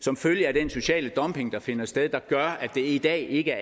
som følge af den sociale dumping der finder sted der gør at det i dag ikke